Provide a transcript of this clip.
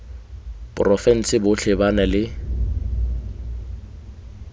porofense botlhe ba na le